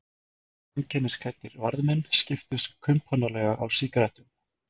Einkennisklæddir varðmenn skiptust kumpánlega á sígarettum.